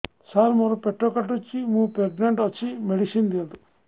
ସାର ମୋର ପେଟ କାଟୁଚି ମୁ ପ୍ରେଗନାଂଟ ଅଛି ମେଡିସିନ ଦିଅନ୍ତୁ